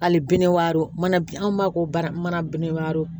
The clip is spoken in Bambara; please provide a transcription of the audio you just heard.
Hali bi ne walo mana an b'a ko bara manabini waro